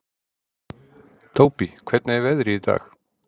Tóbý, hvernig er veðrið í dag?